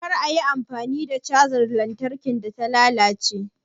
Kar a yi amfani da cajar lantarkin da ta lalace